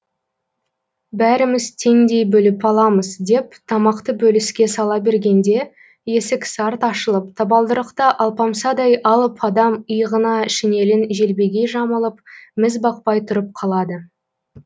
бәріміз теңдей бөліп аламыз деп тамақты бөліске сала бергенде есік сарт ашылып табалдырықта алпамсадай алып адам иығына шинелін желбегей жамылып міз бақпай тұрып қалады